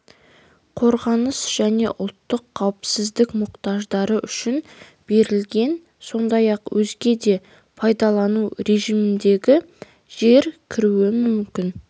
қорғаныс және ұлттық қауіпсіздік мұқтаждары үшін берілген сондай-ақ өзге де пайдалану режиміндегі жер кіруі мүмкін